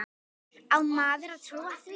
Á maður að trúa því?